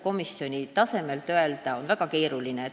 Komisjoni tasandilt seda hinnata on väga keeruline.